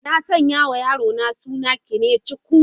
Na sanya wa yarona suna 'Kenechukwu'.